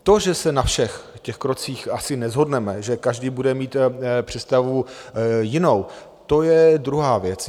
To, že se na všech těch krocích asi neshodneme, že každý bude mít představu jinou, to je druhá věc.